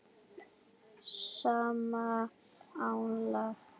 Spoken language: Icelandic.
sama álag?